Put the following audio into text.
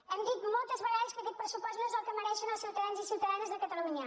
hem dit moltes vegades que aquest pressupost no és el que mereixen els ciutadans i ciutadanes de catalunya